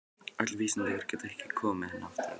Öll vísindi ykkar geta ekki komið henni aftur á ið.